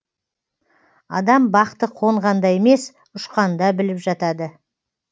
адам бақты қонғанда емес ұшқанда біліп жатады